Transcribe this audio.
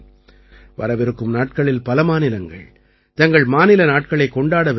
வரவிருக்கும் நாட்களில் பல மாநிலங்கள் தங்கள் மாநில நாட்களைக் கொண்டாடவிருக்கின்றன